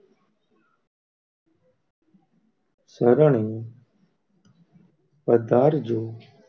સરણે પધારજો